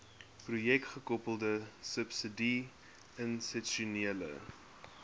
projekgekoppelde subsidie institusionele